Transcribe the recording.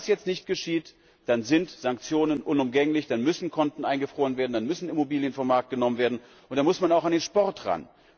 Wenn das jetzt nicht geschieht, dann sind Sanktionen unumgänglich, dann müssen Konten eingefroren werden, dann müssen Immobilien vom Markt genommen werden, und dann muss man auch an den Sport ran.